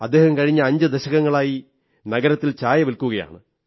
അദ്ദേഹം കഴിഞ്ഞ അഞ്ചു ദശകങ്ങളായി നഗരത്തിൽ ചായ വില്ക്കുകയാണ്